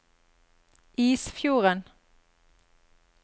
Isfjorden